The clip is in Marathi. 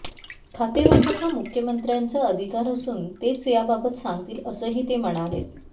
खातेवाटप हा मुख्यमंत्र्यांचा अधिकार असून तेच याबाबत सांगतील असंही ते म्हणालेत